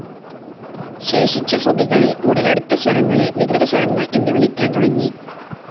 ശേഷിച്ച ശ്രുതികളിൽ ഉടലെടുത്ത സ്വരങ്ങളെ വികൃതസ്വരങ്ങൾ എന്ന് വിളിക്കാൻ തുടങ്ങി.